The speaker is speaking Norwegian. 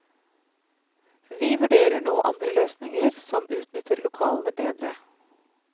Vi vurderer nå andre løsninger som utnytter lokalene bedre.